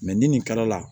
ni nin kala la